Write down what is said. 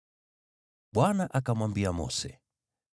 Bwana akamwambia Mose,